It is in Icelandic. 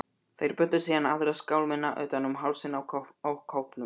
Þeir bundu síðan aðra skálmina utan um hálsinn á kópnum.